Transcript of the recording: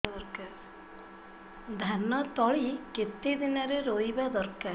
ଧାନ ତଳି କେତେ ଦିନରେ ରୋଈବା ଦରକାର